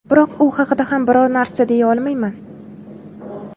Biroq u haqida ham biror narsa deya olmayman.